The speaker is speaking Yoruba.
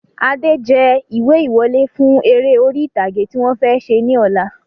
Adé jẹ ìwé ìwọlé fún eré orí ìtàgé tí wọ̀n fẹ́ ṣe ní ọ̀la